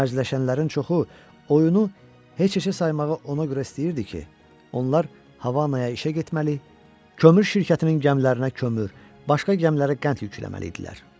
Mərcələşənlərin çoxu oyunu heç-heçə saymağı ona görə istəyirdi ki, onlar Havanaya işə getməli, kömür şirkətinin gəmilərinə kömür, başqa gəmilərə qənd yükləməli idilər.